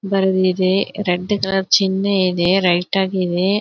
Red colour ಚಿನ್ನೆ ಇದೆ right ಆಗಿ ಇವೆ.